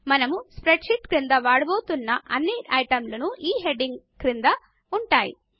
మనము spreadsheet క్రింద వాడబోతున్న అన్ని ఐటమ్లు ఈ హెడింగ్ క్రింద ఉంటాయి